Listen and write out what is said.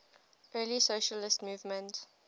early socialist movement